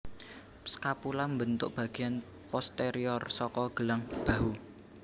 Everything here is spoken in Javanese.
Scapula mbentuk bagéan posterior saka gelang bahu